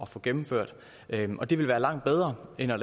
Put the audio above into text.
få gennemført og det vil være langt bedre end at